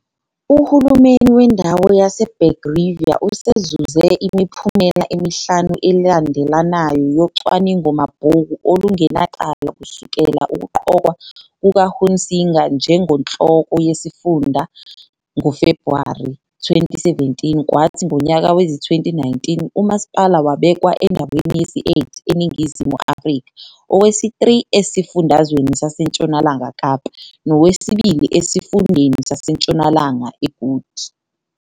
UHulumeni Wendawo yaseBergrivier usezuze imiphumela emihlanu elandelanayo yocwaningomabhuku olungenacala kusukela ukuqokwa kukaHunsinger njengenhloko yesifunda ngoFebhuwari 2017 kwathi ngonyaka wezi-2019 umasipala wabekwa endaweni yesi-8 eNingizimu Afrika, owesi-3 esifundazweni saseNtshonalanga Kapa, nowesibili esifundeni saseNtshonalanga eGood